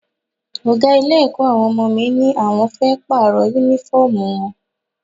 Ọ̀gá ilé-ẹ̀kọ́ àwọn ọmọ mi ní àwọn fẹ́ Pààrọ̀ Únífọ́ọ̀mù wọn